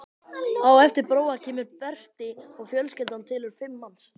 Á eftir Bróa kemur Berti og fjölskyldan telur fimm manns.